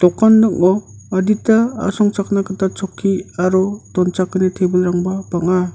dokan ning·o adita asongchakna gita chokki aro donchakani tebilrangba bang·a.